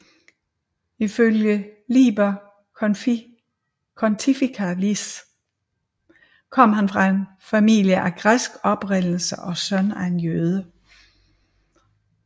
Ifølge Liber Pontificalis kom han fra en familie af græsk oprindelse og søn af en jøde